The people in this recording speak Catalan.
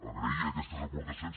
agrair aquestes aportacions